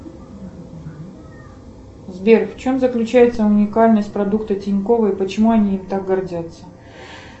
сбер в чем заключается уникальность продукта тинькова и почему они им так гордятся